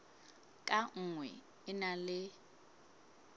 ka nngwe e na le